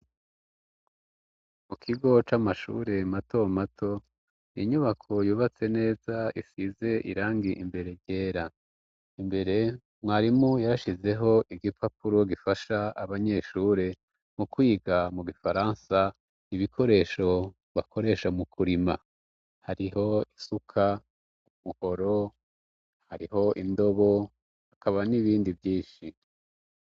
Mu kigo c'amashure mato mato inyubako yubatse neza isize irangi imbere ryera, Imbere mwarimu yarashizeho igipapuro gifasha abanyeshure mu kwiga mu gifaransa ibikoresho bakoresha mu kurima, hariho isuka umuhoro, hariho indobo hakaba n'ibindi vyinshi.